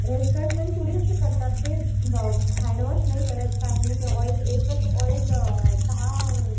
restaurant पण थोडी असे करतात ते हँडवॉश नाही करत काही नाही की ऑइल एकच ऑइल दहा